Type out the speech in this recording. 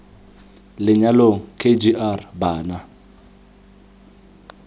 lenyalong k g r bana